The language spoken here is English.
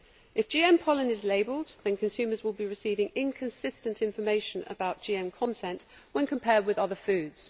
If GM pollen is labelled, consumers will be receiving inconsistent information about GM content when compared with other foods.